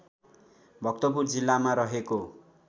भक्तपुर जिल्लामा रहेको